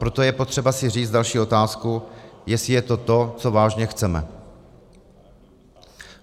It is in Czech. Proto je potřeba si říct další otázku, jestli je to to, co vážně chceme.